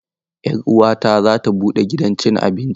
Yar uwata za ta buɗe gidan cin abinci.